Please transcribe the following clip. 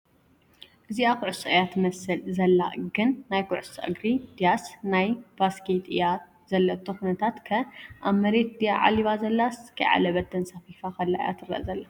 እዚኣ ኹዕሶ እያ ትመስል ዘላ ግን ናይ እግሪ ኹዕሶ ድያስ ናይ ቫስኬት እያ ዘለቶ ኹነታት ከ ኣብ መሬት ድያ ዓሊባ ዘላስ ከይዓለበት ተንሳፊፋ ኸላ እያ ትረኣ ዘላ ?